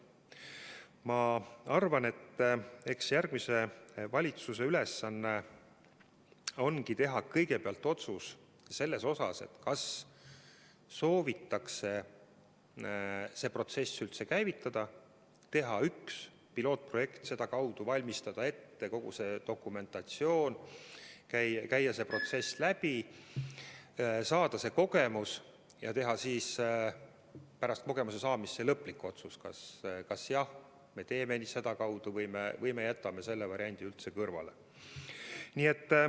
Ma arvan, et järgmise valitsuse ülesanne ongi teha kõigepealt otsus, kas soovitakse see protsess üldse käivitada, teha näitks üks pilootprojekt ja sedakaudu valmistada ette kogu see dokumentatsioon, käia see protsess läbi, saada kogemus ja teha siis pärast kogemuse saamist lõplik otsus, kas me läheme sedakaudu või jätame selle variandi üldse kõrvale.